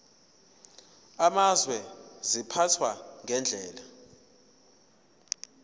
amazwe ziphathwa ngendlela